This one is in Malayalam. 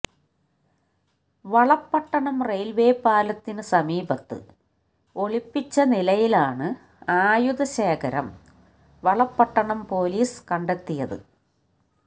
വളപട്ടണം റെയിൽവേ പാലത്തിന് സമീപത്ത് ഒളിപ്പിച്ച നിലയിലാണ് ആയുധശേഖരം വളപട്ടണം പോലീസ് കണ്ടെത്തിയത്